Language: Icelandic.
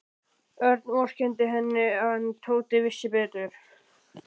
Örn vorkenndi henni en Tóti vissi betur.